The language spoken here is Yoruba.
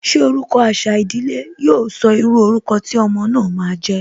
Ṣé orúkọ àṣà ìdílé, yo sọ írú orúkọ tí ọmọ náà ma jẹ́?